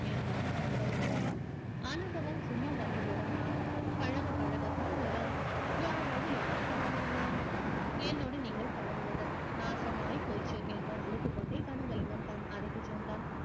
என்றான் கனகலிங்கம் அனுபவம் சும்மா வந்து விடுமா பழகப் பழகத்தான் வரும் யாரோடு யார் பழகுவது என்னோடு நீங்கள் பழகுவது நாசமாய் போச்சு என்ற அலுத்துக்கொண்டே கனகலிங்கம் தன் அறைக்குச் சென்றான்